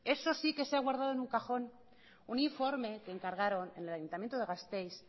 eso sí que se ha guardado en un cajón un informe que encargaron en el ayuntamiento de gasteiz